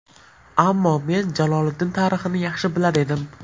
Ammo men Jaloliddin tarixini yaxshi bilar edim.